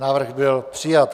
Návrh byl přijat.